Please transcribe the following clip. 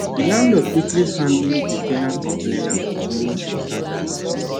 the landlord quickly handle the ten ant complaint about too much water damage